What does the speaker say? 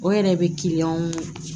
O yɛrɛ bɛ kiliyanw